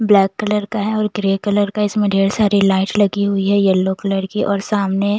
black colour का है और ग्रे कलर का इसमें ढेर सारी लाइट लगी हुई है येलो कलर की और सामने--